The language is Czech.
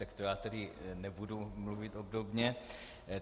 Tak to já tedy nebudu mluvit obdobně.